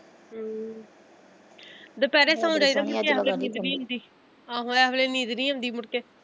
ਹਮ ਦੁਪਹਿਰੇ ਸੋ ਜਾਈਦਾ ਇਸ ਵੇਲੇ ਨੀਂਦ ਨੀ ਹੁੰਦੀ ਆਹੋ ਐਸ ਵੇਲੇ ਨੀਂਦ ਨਹੀਂ ਆਉਂਦੀ ਮੁੜ ਕੇ।